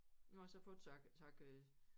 Nu har jeg så fået så jeg så jeg kan